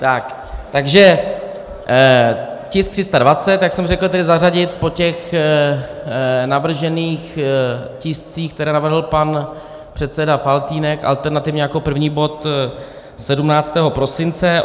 Takže tisk 320, jak jsem řekl, tedy zařadit po těch navržených tiscích, které navrhl pan předseda Faltýnek, alternativně jako první bod 17. prosince.